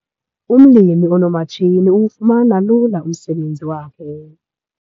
Umlimi onoomatshini uwufumana ulula umsebenzi wakhe.